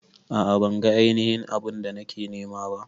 A'a ban ga ainihin abu'n da nake nema ba.